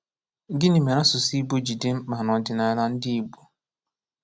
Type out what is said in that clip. Gịnị mere asụsụ Igbo ji dị mkpa n’ọdinala ndị Igbo?